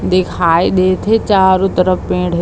दिखाई देत हे चारो तरफ पेड़ हे।